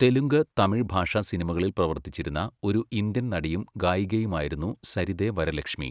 തെലുങ്ക്, തമിഴ് ഭാഷാ സിനിമകളിൽ പ്രവർത്തിച്ചിരുന്ന ഒരു ഇന്ത്യൻ നടിയും ഗായികയുമായിരുന്നു സരിദെ വരലക്ഷ്മി.